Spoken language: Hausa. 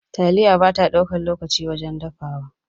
Taliya bata ɗaukan lokaci wajen dafawa.